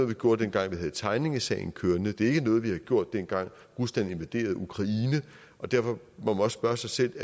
vi gjorde dengang vi havde tegningsagen kørende det var ikke noget vi gjorde dengang rusland invaderede ukraine og derfor må man også spørge sig selv